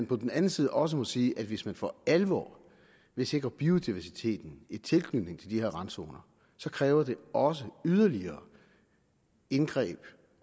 på den anden side også sige at hvis man for alvor vil sikre biodiversitet i tilknytning til de her randzoner så kræver det også yderligere indgreb